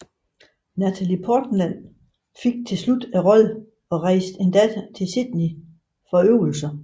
Natalie Portman fik til slut rollen og rejste endda til Sydney for øvelser